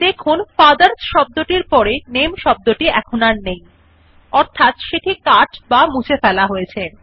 দেখুন ফাদারস শব্দ টির পড়ে নামে শব্দটি আর নেই অর্থাৎ সেটি কাট বা মুছে ফেলা হয়েছে